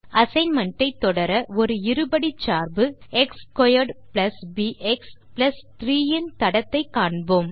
assignment ஐ தொடர ஒரு இருபடிச் சார்பு x2 பிஎக்ஸ் 3 இன் தடத்தை காண்போம்